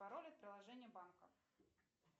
пароль от приложения банка